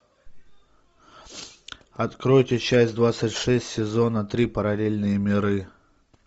откройте часть двадцать шесть сезона три параллельные миры